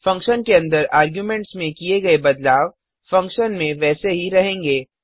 function के अंदर arguments में किए गए बदलाव फंक्शन में वैसे ही रहेंगे